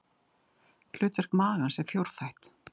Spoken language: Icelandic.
Hlutverk magans er fjórþætt.